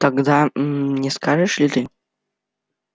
тогда гм не скажешь ли ты